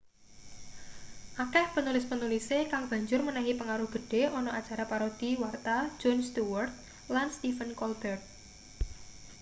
akeh penulis-penulise kang banjur menehi pengaruh gedhe ana acara parodi warta jon stewart lan stephen colbert